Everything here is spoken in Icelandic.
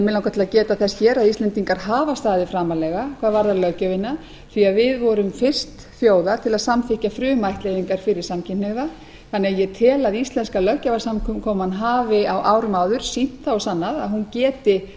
til að geta þess hér að íslendingar hafa staðið framarlega hvað varðar löggjöfina því að við vorum fyrst þjóða til að samþykkja frumættleiðingar fyrir samkynhneigða þannig að ég tel að íslenska löggjafarsamkoman hafi á árum áður sýnt það og sannað að hún geti